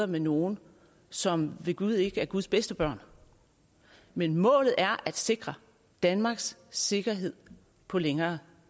med nogle som ved gud ikke er guds bedste børn men målet er at sikre danmarks sikkerhed på længere